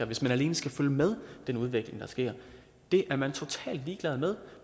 hvis man alene skal følge med den udvikling der sker det er man totalt ligeglad med